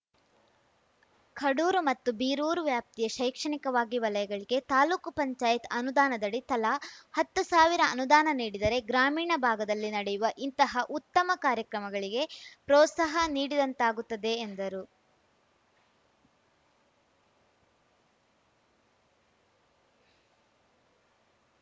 ಕಡೂರು ಮತ್ತು ಬೀರೂರು ವ್ಯಾಪ್ತಿಯ ಶೈಕ್ಷಣಿಕವಾಗಿ ವಲಯಗಳಿಗೆ ತಾಲ್ಲೂಕುಪಂಚಾಯತ್ ಅನುದಾನದಡಿ ತಲಾ ಹತ್ತು ಸಾವಿರ ಅನುದಾನ ನೀಡಿದರೆ ಗ್ರಾಮೀಣ ಭಾಗದಲ್ಲಿ ನಡೆಯುವ ಇಂತಹ ಉತ್ತಮ ಕಾರ್ಯಕ್ರಮಗಳಿಗೆ ಪ್ರೋತ್ಸಾಹ ನೀಡಿದಂತಾಗುತ್ತದೆ ಎಂದರು